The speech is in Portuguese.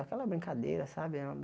Aquela brincadeira, sabe?